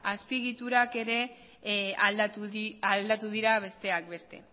azpiegiturak aldatu dira besteak beste